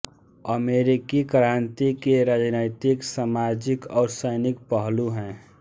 अमेरिकी क्रान्ति के राजनैतिक सामाजिक और सैनिक पहलू हैं